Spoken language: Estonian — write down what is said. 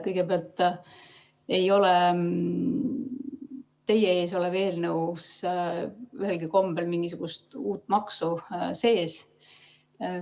Kõigepealt ei ole teie ees olevas eelnõus ühelgi kombel mingisugust uut maksu sees.